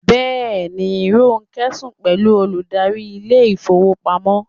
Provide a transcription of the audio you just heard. Yes, Ronke is sleeping with the bank manager